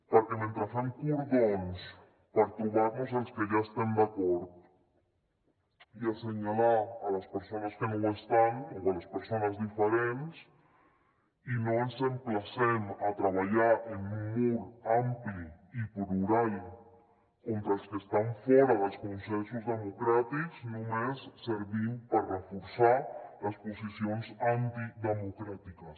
perquè mentre fem cordons per trobar nos els que ja estem d’acord i assenyalar les persones que no ho estan o les persones diferents i no ens emplacem a treballar en un mur ampli i plural contra els que estan fora dels consensos democràtics només servim per reforçar les posicions antidemocràtiques